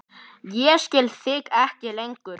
Ég skil þig ekki lengur.